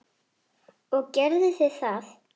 Og gerðu þið það?